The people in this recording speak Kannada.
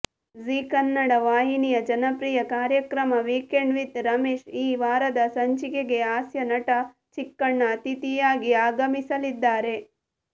ಜೀ ಕನ್ನಡ ವಾಹಿನಿಯ ಜನಪ್ರಿಯ ಕಾರ್ಯಕ್ರಮ ವೀಕೆಂಡ್ ವಿತ್ ರಮೇಶ್ ಈ ವಾರದ ಸಂಚಿಕೆಗೆ ಹಾಸ್ಯನಟ ಚಿಕ್ಕಣ್ಣ ಅತಿಥಿಯಾಗಿ ಆಗಮಿಸಲಿದ್ದಾರೆ